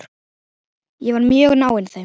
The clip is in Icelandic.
Ég var mjög náinn þeim.